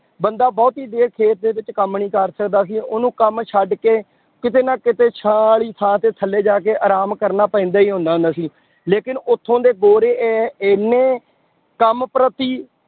ਬੰਦਾਂ ਬਹੁਤੀ ਦੇਰ ਖੇਤ ਦੇ ਵਿੱਚ ਕੰਮ ਨੀ ਕਰ ਸਕਦਾ ਸੀ ਉਹਨੂੰ ਕੰਮ ਛੱਡ ਕੇ ਕਿਤੇ ਨਾ ਕਿਤੇ ਛਾਂ ਵਾਲੀ ਥਾਂ ਤੇ ਥੱਲੇ ਜਾ ਕੇ ਆਰਾਮ ਕਰਨਾ ਪੈਂਦਾ ਹੀ ਹੁੰਦਾ ਹੁੰਦਾ ਸੀ, ਲੇਕਿੰਨ ਉੱਥੋਂ ਦੇ ਗੋਰੇ ਇਹ ਇੰਨੇ ਕੰਮ ਪ੍ਰਤੀ